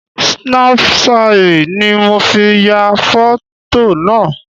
Snapṣayì ni mo fi ya fọ̀. tò naa